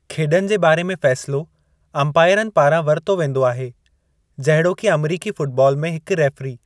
खेड॒नि जे बारे में फ़ैसिलो अंपायरनि पारां वरितो वींदो आहे, जहिड़ोकि अमेरिकी फ़ुटबॉल में हिकु रेफ़री।